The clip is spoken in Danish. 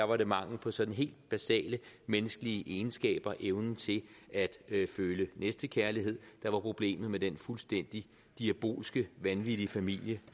var det mangel på sådan helt basale menneskelige egenskaber evnen til at føle næstekærlighed der var problemet med den fuldstændig diabolske vanvittige familie